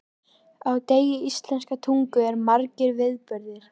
Á degi íslenskrar tungu eru margir viðburðir.